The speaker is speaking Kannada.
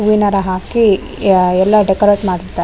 ಹೂವಿನ ಹಾರ ಹಾಕಿ ಎಲ್ಲ ಡೆಕೊರೇಟ್ ಮಾಡಿರ್ತಾರೆ --